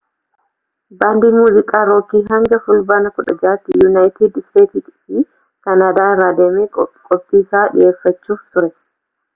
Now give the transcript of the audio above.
baandiin muuziqaa rookii hanga fulbaana 16tti yunaayitid steets fi kaanaadaa irra deemee qophiisaa dhiyeeffachuuf ture